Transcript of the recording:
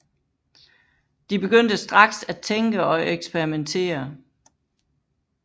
De begyndte straks at tænke og eksperimentere